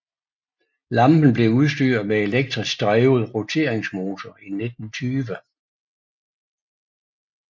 Lampen blev udstyret med elektrisk drevet roteringsmotor i 1920